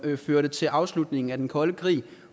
førte til afslutningen af den kolde krig